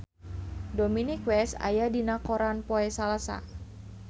Dominic West aya dina koran poe Salasa